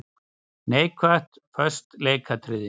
Neikvætt:- Föst leikatriði.